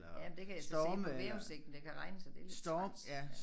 Jamen der kan jeg så se på vejrudsigten det kan regne så det træls ja